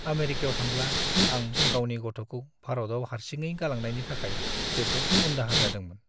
आमेरिकायाव थांब्ला आं गावनि गथ'खौ भारतआव हारसिङै गालांनायनि थाखाय जोबोद उनदाहा जादोंमोन।